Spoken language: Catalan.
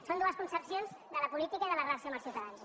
són dues concepcions de la política i de la relació amb els ciutadans